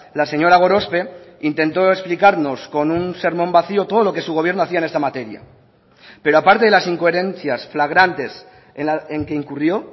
la señora gorospe intentó explicarnos con un sermón vacio todo lo que su gobierno hacía en esta materia pero aparte de las incoherencias flagrantes en que incurrió